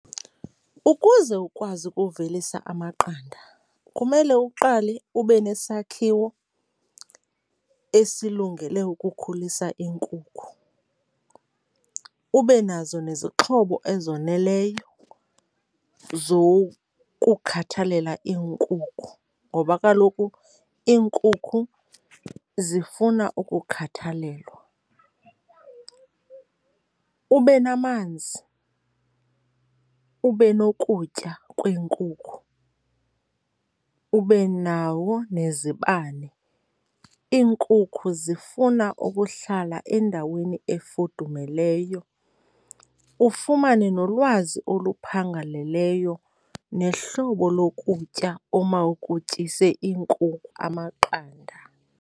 Ukuze ukwazi ukuvelisa amaqanda kumele uqale ube nesakhiwo esilungele ukukhulisa iinkukhu, ube nazo nezixhobo ezoneleyo zokukhathalela iinkukhu ngoba kaloku iinkukhu zifuna ukukhathalelwa. Ube namanzi, ube nokutya kweenkukhu, ube nawo nezibane, iinkukhu zifuna ukuhlala endaweni efudumeleyo. Ufumane nolwazi oluphangaleleyo nehlobo lokutya oomawukutyise amaqanda.